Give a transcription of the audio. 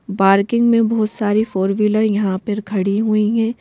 Parking में बहुत सारी फोर व्हीलर यहां पर खड़ी हुई हैं।